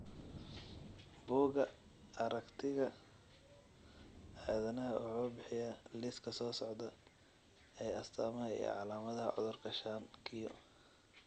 Bugga Aaragtiga Aadanaha wuxuu bixiyaa liiska soo socda ee astamaha iyo calaamadaha cudurka shan q .